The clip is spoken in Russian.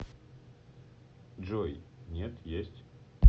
джой нет есть